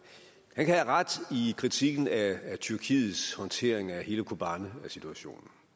have ret i kritikken af tyrkiets håndtering af hele kobanesituationen